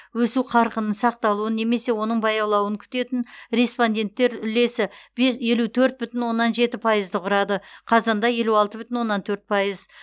өсу қарқынының сақталуын немесе оның баяулауын күтетін респонденттер үлесі елу төрт бүтін оннан жеті пайызды құрады қазанда елу алты бүтін оннан төрт пайыз